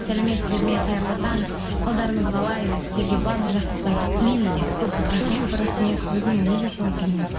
сәлеметсіздер ме қайырлы таң қалдарыңыз қалай сіздерге барлық жақсылықтарды тілеймін дейді көп көп рахмет өзіңе де соны тілейміз